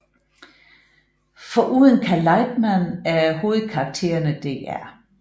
Foruden Cal Lightman er hovedkarakterne Dr